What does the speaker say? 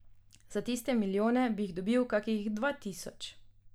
Za tiste milijone bi jih dobili kakšnih dva tisoč.